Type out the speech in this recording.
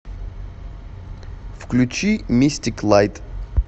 включи мистик лайт